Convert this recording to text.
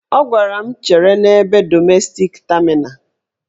Ọ gwara m chere ya n'ebe dọmestik tamina.